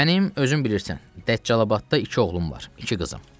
Mənim, özün bilirsən, Dəccalabadda iki oğlum var, iki qızım.